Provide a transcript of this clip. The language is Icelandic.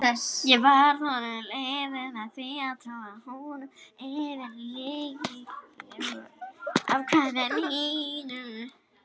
Ég varð honum að liði með því að trúa honum fyrir lygilegu athæfi mínu.